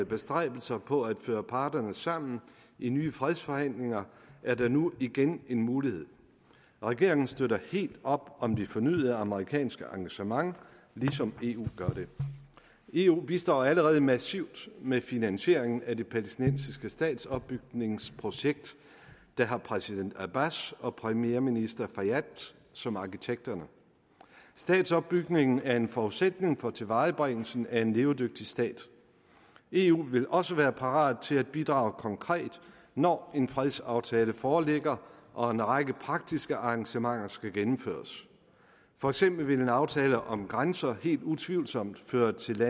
bestræbelser på at føre parterne sammen i nye fredsforhandlinger er der nu igen en mulighed regeringen støtter helt op om det fornyede amerikanske engagement ligesom eu gør det eu bistår allerede massivt med finansieringen af det palæstinensiske statsopbygningsprojekt der har præsident abbas og premierminister fayyad som arkitekter statsopbygningen er en forudsætning for tilvejebringelsen af en levedygtig stat eu vil også være parat til at bidrage konkret når en fredsaftale foreligger og en række praktiske arrangementer skal gennemføres for eksempel vil en aftale om en grænse helt utvivlsomt føre til